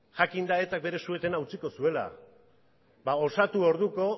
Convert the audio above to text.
jakinda etak bere su etena utziko zuela ba osatu orduko